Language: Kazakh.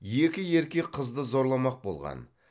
екі еркек қызды зорламақ болған